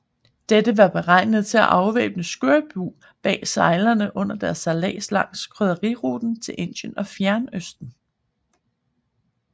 Dette var beregnet til at afværge skørbug blandt sejlere under deres sejlads langs krydderiruten til Indien og Fjernøsten